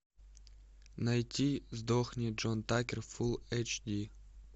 найти сдохни джон такер фулл эйч ди